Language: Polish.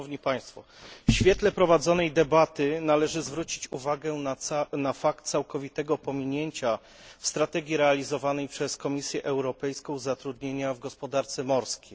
W świetle prowadzonej debaty należy zwrócić uwagę na fakt całkowitego pominięcia w strategii realizowanej przez Komisję Europejską zatrudnienia w gospodarce morskiej.